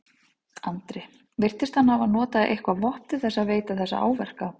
Andri: Virtist hann hafa notað eitthvað vopn til þess að veita þessa áverka?